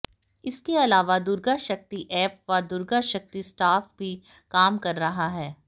इसके अलावा दुर्गा शक्ति ऐप व दुर्गा शक्ति स्टाफ भी काम कर रहा है